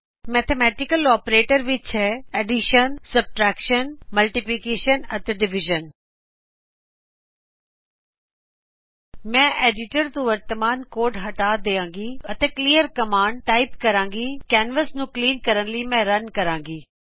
mathematical operators ਵਿਚ ਹੈ ਅਤੇ ਮੈਂ ਐਡਿਟਰ ਤੋ ਵਰਤਮਾਨ ਕੋਡ ਹਟਾ ਦੇਵਾਗੀ ਅਤੇ ਕਲੀਅਰ ਕਮਾਂਡ ਟਾਇਪ ਕਰਾਗੀ ਅਤੇ ਕੈਨਵਸ ਨੂੰ ਕਲੀਨ ਕਰਨ ਲਈ ਮੈਂ ਰਨ ਕਰਾਗੀ